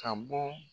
Ka bɔ